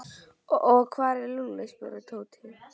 Og hvar er Lúlli? spurði Tóti.